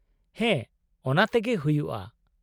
ᱦᱮᱸ, ᱚᱱᱟᱛᱮᱜᱮ ᱦᱩᱭᱩᱜᱼᱟ ᱾